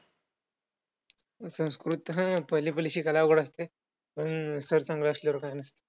तुझ्या डोळ्याचे पाणी आईच्या हृदयाला जास्त धोकादायक आहे बरं तू न रडता आनंदाने जर तू देवाचे उच्चारण करशील तर ते तुझ्या आईच्या जीवाला फायदा आहे आणि ते फिरवत फिरवत